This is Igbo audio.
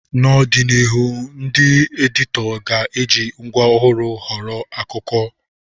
N'ọdịnihu, ndị editọ ga-eji ngwa ọhụrụ họrọ akụkọ.